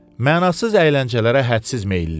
Mənasız əyləncələrə hədsiz meylli idi.